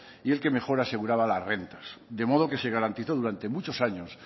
y el que mejor aseguraba las rentas de modo que se garantizó durante muchos años